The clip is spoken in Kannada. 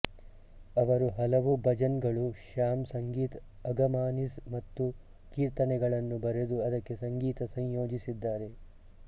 ಅವರು ಹಲವು ಭಜನ್ ಗಳು ಶ್ಯಾಮ್ ಸಂಗೀತ್ ಅಗಮಾನಿಸ್ ಮತ್ತು ಕೀರ್ತನೆಗಳ ನ್ನು ಬರೆದು ಅದಕ್ಕೆ ಸಂಗೀತ ಸಂಯೋಜಿಸಿದ್ದಾರೆ